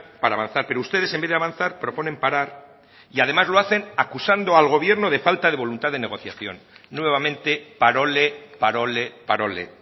para avanzar pero ustedes en vez de avanzar proponen parar y además lo hacen acusando al gobierno de falta de voluntad de negociación nuevamente parole parole parole